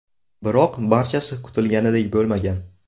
Biroq barchasi kutilganidek bo‘lmagan.